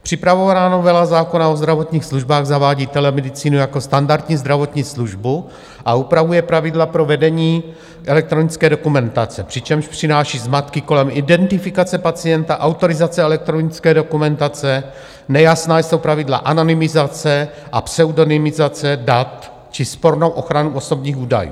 Připravovaná novela zákona o zdravotních službách zavádí telemedicínu jako standardní zdravotní službu a upravuje pravidla pro vedení elektronické dokumentace, přičemž přináší zmatky kolem identifikace pacienta, autorizace elektronické dokumentace - nejasná jsou pravidla anonymizace a pseudonymizace dat - či spornou ochranu osobních údajů.